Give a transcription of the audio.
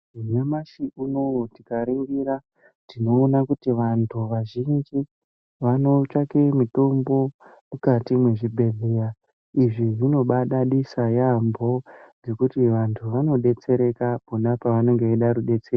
Nyamashi unowu tikaningira tinoona kuti vantu vazhinji vanotsvaka mitombo mukati mezvibhedhlera izvi zvinobadadisa yambo ngekuti vantu vanodetsereka pona pavanenge vachida rubatsiro.